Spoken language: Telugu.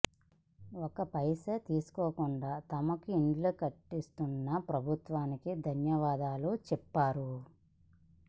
ఒక్క పైసా తీసుకోకుండా తమకు ఇండ్లు కట్టిస్తున్న ప్రభుత్వానికి ధన్యవాదాలు చెప్పారు